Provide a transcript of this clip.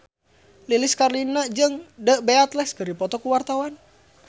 Lilis Karlina jeung The Beatles keur dipoto ku wartawan